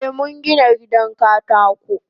Eh mungina gidan katako.